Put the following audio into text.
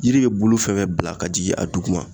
Yiri be bulu fɛn fɛn bila ka jigin a dugu ma